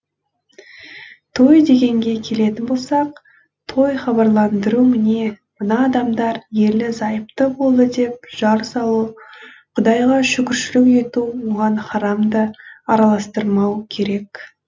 той дегенге келетін болсақ той хабарландыру міне мына адамдар ерлі зайыпты болды деп жар салу құдайға шүкіршілік ету оған харамды араластырмау керек